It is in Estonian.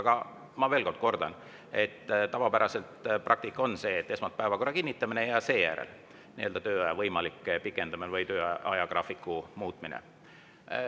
Aga ma veel kordan, et tavapärane praktika on see, et esmalt on päevakorra kinnitamine ja seejärel tööaja võimalik pikendamine või töö ajagraafiku muutmine.